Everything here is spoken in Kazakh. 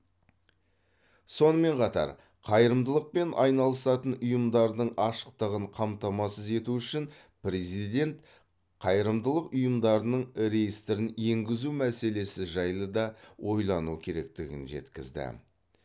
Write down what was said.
сонымен қатар қайырымдылықпен айналысатын ұйымдардың ашықтығын қамтамасыз ету үшін президент қайырымдылық ұйымдарының реестрін енгізу мәселесі жайлы да ойлану керектігін жеткізді